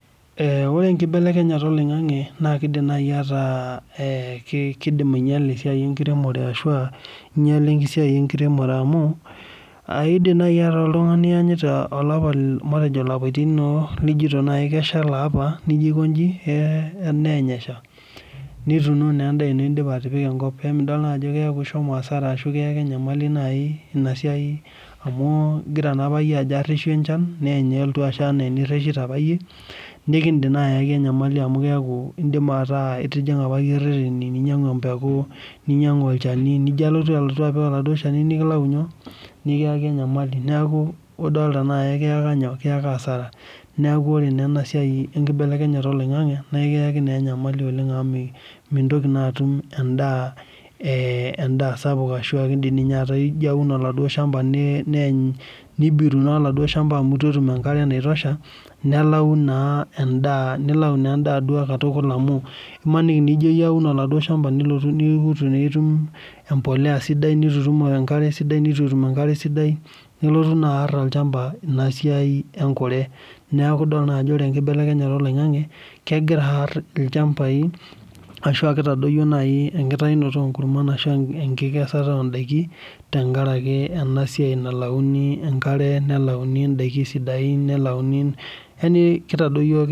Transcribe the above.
Ee ore enkibelekenyata oloingangi na kidim ainyala esai enkiremore amu kidim ataa ianyita olapa nijito nai keshaa elaapa nituno endaa ino amidol aj ishomo asara nikiyaka enyamali nai inasiai amu ingira ayaki enyamali amu indipa ataa itijinga irwteni ninyangu empeku ninyangu olchani neaku ore enkibelekenyata oloingangi na ekiyaki enyamali oleng amu mintoki atum endaa sapuk amu ijo aum oladuo shamba nibiru olchamba amu ituetum enkare naitosha nelau naa endaa duo katukul amu imaniki ijo aun oladuo shamba nitu itum embolea sidai nituitum enkare sidai nelotu aar olchamba esiaia enkure neaku ore enkibelekenyata oloingangi na kitadoyio enkesata ondakin tenkaraki easiai nalauni enkare nelauni enkare sidai neaku kitadoyio